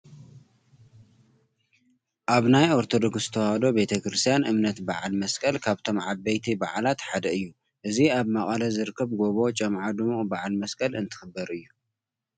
ኣብ ናይ ኦርቶዶክስ ተወህዶ ቤተ ክርስትያን እምነት በዓል መስቀል ካብቶም ዓበይቲ በዓላት ሓደ እዩ፡፡ እዚ ኣብ መቐለ ዝርከብ ጎቦ ጮምዓ ድሙቕ በዓል መስቀል እንትኽበር እዩ፡፡